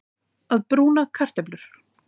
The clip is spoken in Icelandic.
Að brúna kartöflur